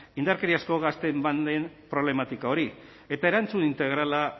indarkeriazko gazteen banden problematika hori eta erantzun integrala